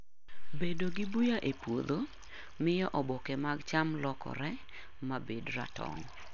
Bedo gi buya e puodho miyo oboke mag cham lokore ma bed ratong'.